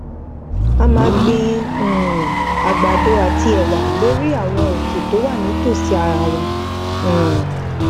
a máa gbin um àgbàdo àti èwà lórí àwọn òkè tó wà ní ìtòsí ara wọn um